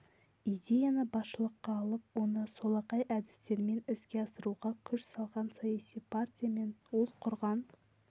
идеяны басшылыққа алып оны солақай әдістермен іске асыруға күш салған саяси партия мен ол құрған